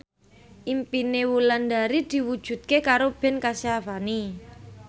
impine Wulandari diwujudke karo Ben Kasyafani